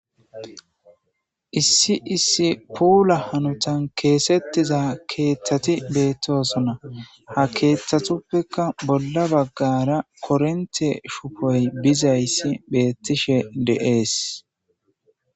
issi issi puula hanutan keesettiza keeththati beettosona ha keeththatuppeka bolla baggara korinte shufoy bizayssi beettishe de7ees